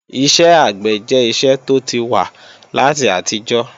Iṣẹ́ àgbẹ̀ jẹ́ iṣẹ́ tó ti wà láti àtijọ́